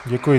Děkuji.